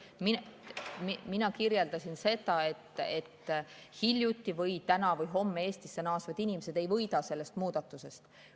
Mina kirjeldasin seda, et hiljuti naasnud või täna või homme Eestisse naasvad inimesed ei võida sellest muudatusest.